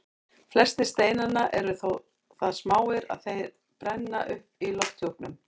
Flestir steinanna eru þó það smáir að þeir brenna upp í lofthjúpnum.